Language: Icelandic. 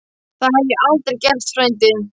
Það hef ég aldrei gert, frændi